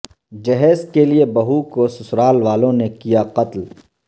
جہیز کے لئے بہو کو سسرال والوں نےکیا قتل